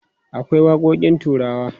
akwai waƙoƙin turawa